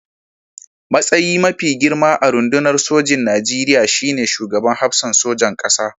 Matsayi mafi girma a rundunar sojin Nigeriya shi ne Shugaban Hafsan Sojan ƙasa.